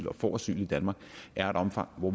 og får asyl i danmark er af et omfang hvor